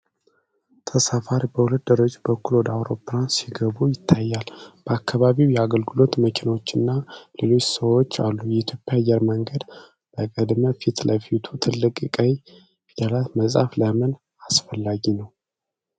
ተሳፋሪዎች በሁለት ደረጃዎች በኩል ወደ አውሮፕላኑ ሲገቡ ይታያል፤ በአካባቢው የአገልግሎት መኪናዎችና ሌሎች ሰዎች አሉ። ኢትዮጵያ አየር መንገድ በቅድመ-ፊት ለፊቱ ትልቅ ቀይ ፊደላት መጻፉ ለምን አስፈላጊ ነው?